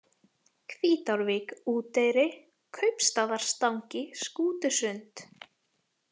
Hvítárvík, Úteyri, Kaupstaðartangi, Skútusund